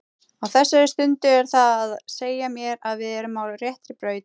Á þessari stundu er það að segja mér að við erum á réttri braut.